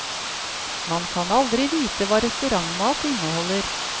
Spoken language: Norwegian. Man kan aldri vite hva restaurantmat inneholder.